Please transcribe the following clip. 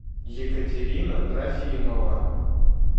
екатерина трофимова